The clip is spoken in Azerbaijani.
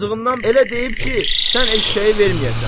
Acığından elə deyib ki, sən eşşəyi verməyəsən.